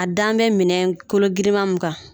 A dan bɛ minɛ kologirinman mun kan